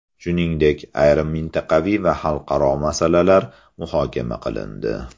Shuningdek, ayrim mintaqaviy va xalqaro masalalar muhokama qilindi.